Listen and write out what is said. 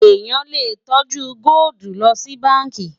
èyán lè tọjú goldi ló ṣì bánkì